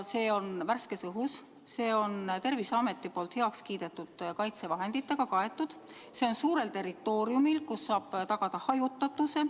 See toimub värskes õhus, see on Terviseametilt heakskiidu saanud kaitsevahenditega kaetud ja see on suurel territooriumil, kus saab tagada hajutatuse.